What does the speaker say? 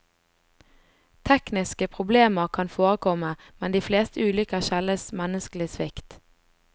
Tekniske problemer kan forekomme, men de fleste ulykker skyldes menneskelig svikt.